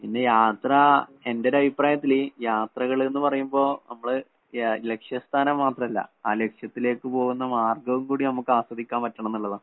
പിന്നെ, യാത്ര എന്‍റെയൊരഭിപ്രായത്തില് യാത്രകള്‍ എന്ന് പറയുമ്പോള്‍ നമ്മള് ലക്ഷ്യസ്ഥാനം മാത്രമല്ല. ആ ലക്ഷ്യത്തിലേക്ക് പോകുന്ന മാര്‍ഗ്ഗവും കൂടി നമുക്ക് ആസ്വദിക്കാന്‍ പറ്റണം എന്നുള്ളതാണ്.